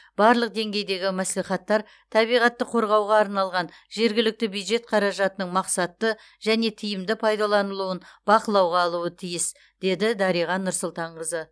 барлық деңгейдегі мәслихаттар табиғатты қорғауға арналған жергілікті бюджет қаражатының мақсатты және тиімді пайдаланылуын бақылауға алуы тиіс деді дариға нұрсұлтанқызы